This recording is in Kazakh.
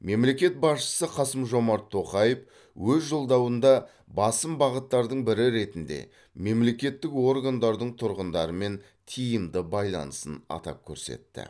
мемлекет басшысы қасым жомарт тоқаев өз жолдауында басым бағыттардың бірі ретінде мемлекеттік органдардың тұрғындармен тиімді байланысын атап көрсетті